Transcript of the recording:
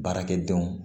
Baarakɛdenw